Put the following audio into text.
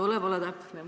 Tuleb olla täpne!